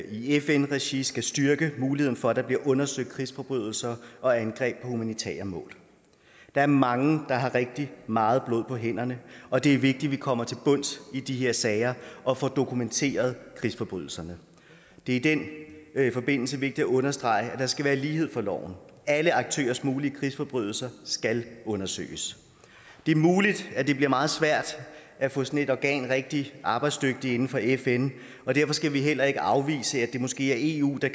i fn regi skal styrke muligheden for at der bliver undersøgt krigsforbrydelser og angreb på humanitære mål der er mange der har rigtig meget blod på hænderne og det er vigtigt at vi kommer til bunds i de her sager og får dokumenteret krigsforbrydelserne det er i den forbindelse vigtigt at understrege at der skal være lighed for loven alle aktørers mulige krigsforbrydelser skal undersøges det er muligt at det bliver meget svært at få sådan et organ gjort rigtig arbejdsdygtigt inden for fn og derfor skal vi heller ikke afvise at det måske er eu der